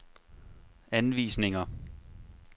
anvisninger